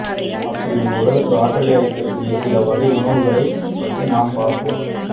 அப்படி உங்க உடலுக்கு ஆற்றலை அளிக்கக் கூடிய சில வகை உணவுகளை பற்றி நாம் பார்ப்போம்